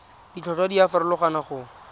ditlhotlhwa di a farologana go